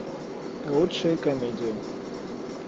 лучшие комедии